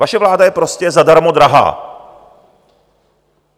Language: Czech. Vaše vláda je prostě zadarmo drahá.